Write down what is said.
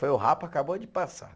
Foi o rapa, acabou de passar.